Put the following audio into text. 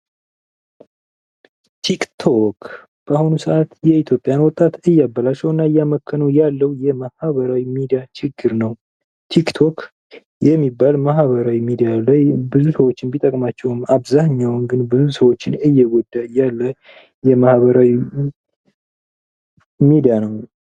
ቲክ ቶክ በአሁኑ ሰዓት የኢትዮጵያን ወጣት እያበላሸውና እያመከነው ያለው የማህበራዊ ሚድያ ችግር ነው። ቲክ ቶክ የሚባለው ማህበራዊ ሚዲያ ላይ ብዙ ሰዎችን ቢጠቅማቸውም አብዛኃኛው ብዙ ሰዎችን እየጎዳ ያለ የማህበራዊ ሚዲያ ነው።